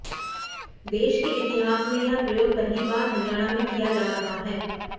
देश के इतिहास में यह प्रयोग पहली बार हरियाणा में किया जा रहा है